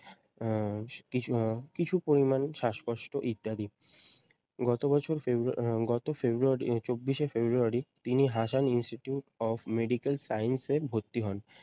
আহ কিছু আহ কিছু পরিমান শ্বাসকষ্ট ইত্যাদি। গতবছর ফেব্রূ আহ গত ফেব্রূয়ারি আহ চব্বিশে এ ফেব্রূয়ারি তিনি Hasan institute of medical science এ ভর্তি হন।